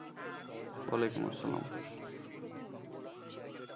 ওয়ালাইকুম আসসলাম।